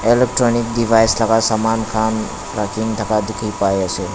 electronic device laga saman khan rakhikena taka dikhi pai ase.